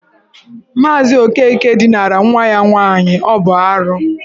Maazị Okeke dinara nwa ya nwaanyị, ọ bụ arụ.